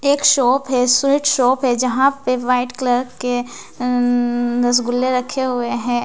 एक शॉप है sweet shop हैं जहाँ पे वाइट कलर के अंअंअं रसगुल्ले रखे हुए हैं।